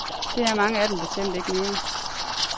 Det er mange af dem bestemt ikke mere.